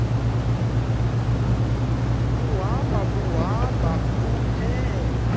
buhamba buhambe buphele